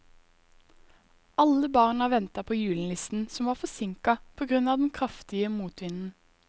Alle barna ventet på julenissen, som var forsinket på grunn av den kraftige motvinden.